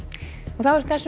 þá er þessum